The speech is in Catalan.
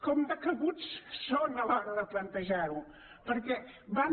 com de cabuts són a l’hora de plantejar ho perquè van a